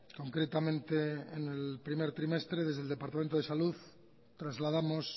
concretamente en el primer trimestre desde el departamento de salud trasladamos